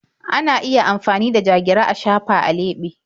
Ana iya amfani da ja-gira a shafa a leɓe.